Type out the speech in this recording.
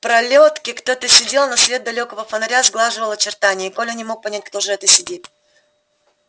в пролётке кто то сидел но свет далёкого фонаря сглаживал очертания и коля не мог понять кто же это сидит